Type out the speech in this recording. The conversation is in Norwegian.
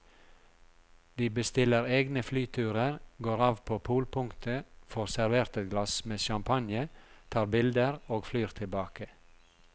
De bestiller egne flyturer, går av på polpunktet, får servert et glass med champagne, tar bilder og flyr tilbake.